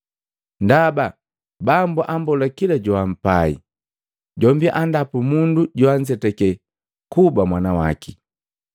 Ndaba Bambo ammbola kila joampai, jombi andapu mundu joanzeteke kuba mwanawaki.”